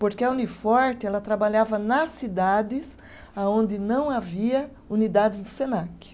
Porque a Uniforte, ela trabalhava nas cidades aonde não havia unidades do Senac.